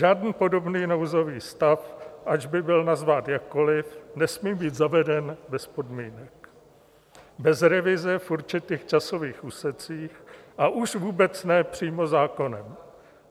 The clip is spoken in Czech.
Žádný podobný nouzový stav, ať by byl nazván jakkoli, nesmí být zaveden bez podmínek, bez revize v určitých časových úsecích, a už vůbec ne přímo zákonem.